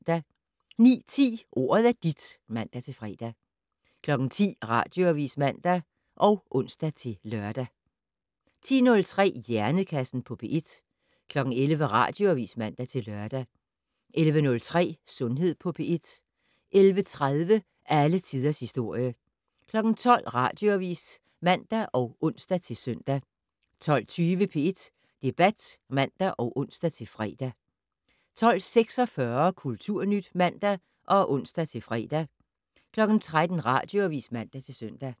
09:10: Ordet er dit (man-fre) 10:00: Radioavis (man og ons-lør) 10:03: Hjernekassen på P1 11:00: Radioavis (man-lør) 11:03: Sundhed på P1 11:30: Alle tiders historie 12:00: Radioavis (man og ons-søn) 12:20: P1 Debat (man og ons-fre) 12:46: Kulturnyt (man og ons-fre) 13:00: Radioavis (man-søn)